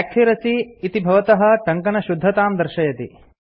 accuracy - इति भवतः टङ्कनशुद्धतां दर्शयति